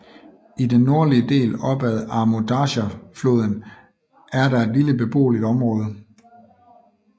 I den nordlige del op ad Amu Darja floden er der et lille beboeligt område